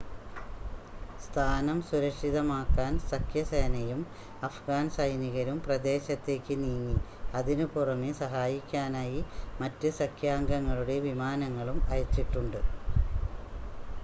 സ്ഥാനം സുരക്ഷിതമാക്കാൻ സഖ്യസേനയും അഫ്ഗാൻ സൈനികരും പ്രദേശത്തേക്ക് നീങ്ങി അതിനുപുറമെ സഹായിക്കാനായി മറ്റ് സഖ്യാംഗങ്ങളുടെ വിമാനങ്ങളും അയച്ചിട്ടുണ്ട്